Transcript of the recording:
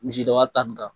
Misidaba ta nin kan